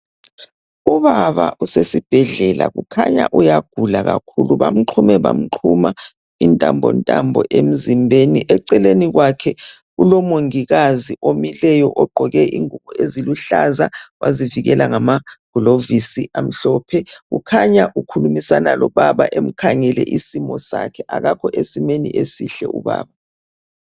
Ubaba usesibhedlela kukhanya uyagula kakhulu ngoba bamxhume bamxhuma intambontambo emzimbeni. Eceleni kwakhe kulomongikazi omileyo ogqoke ingubo eziluhlaza wazivukela ngamaglovisi amhlophe. Kukhanya ukhulumisana lobaba emkhangele isimo sakhe. Akakho esimeni esihle ubaba.